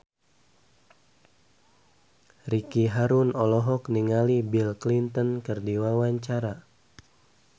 Ricky Harun olohok ningali Bill Clinton keur diwawancara